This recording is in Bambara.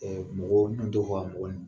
Ɛɛ mɔgɔ mɔgɔ